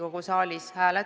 Kuidas te seda seletate?